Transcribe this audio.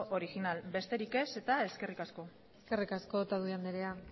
original besterik ez eta eskerrik asko eskerrik asko otadui andrea